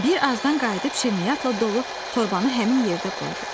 Bir azdan qayıdıb şirniyyatla dolu torbanı həmin yerdə qoydu.